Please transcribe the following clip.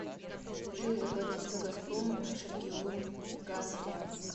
джой заплатить за газпром межрегионгаз брянск